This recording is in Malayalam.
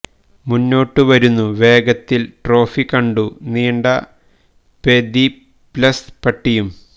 മുന്നോട്ട് വരുന്നു വേഗത്തിൽ ട്രോഫി കണ്ടു നീണ്ട പെദിപല്പ്സ് പട്ടിയും